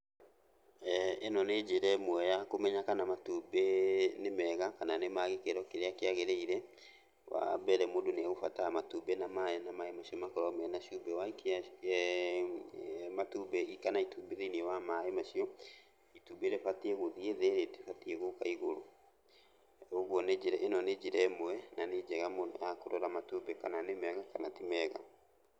Ĩno nĩ njĩra ĩmwe ya kũmenya kana matumbĩ nĩ mega, kana nĩ ma gĩkĩro kĩrĩa kĩagĩrĩire. Wambere mũndũ nĩegũbatara matumbĩ na maĩ na maĩ macio makorwo mena cumbĩ. Waikia matumbĩ hihi kana itumbĩ thĩiniĩ wa maĩ macio, itumbĩ rĩbatiĩ gũthiĩ thĩ rĩtibatiĩ gũka igũrũ. Ũguo nĩ njĩra, ĩno nĩ njĩra ĩmwe na nĩ njega mũno ya kũrora matumbĩ kana nĩ mega kana ti mega.